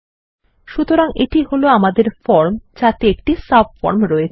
সুতরাং এটি হল আমাদের ফর্ম যাতে একটি সাবফর্ম রয়েছে